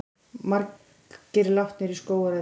Margir látnir í skógareldi